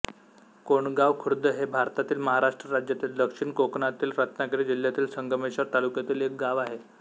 कोंडगाव खुर्द हे भारतातील महाराष्ट्र राज्यातील दक्षिण कोकणातील रत्नागिरी जिल्ह्यातील संगमेश्वर तालुक्यातील एक गाव आहे